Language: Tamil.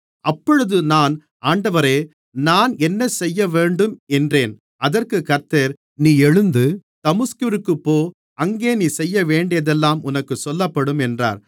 அப்பொழுது நான் ஆண்டவரே நான் என்னசெய்யவேண்டும் என்றேன் அதற்குக் கர்த்தர் நீ எழுந்து தமஸ்குவிற்குப் போ அங்கே நீ செய்யவேண்டியதெல்லாம் உனக்குச் சொல்லப்படும் என்றார்